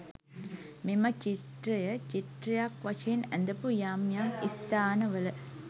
මෙම චිත්‍රය, චිත්‍රයක් වශයෙන් ඇඳපු යම් යම් ස්ථානවල